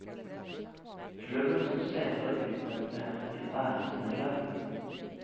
Klubben som senere utnevnte henne til æresmedlem.